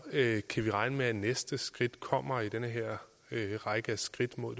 kan vi regne med at næste skridt kommer i den her række af skridt mod